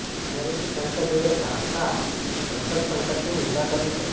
અમેરિકી સાંસદોએ ઢાકા બંધક સંકટની નિંદા કરી છે